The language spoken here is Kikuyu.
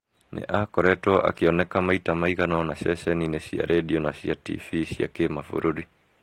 Nĩ aakoretwo akĩoneka maita maigana ũna ceceni-inĩ cia redio na cia TV cia kĩ mabũrũri.